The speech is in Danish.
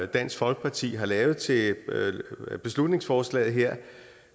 dansk folkeparti har lavet til beslutningsforslaget her